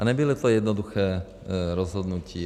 A nebylo to jednoduché rozhodnutí.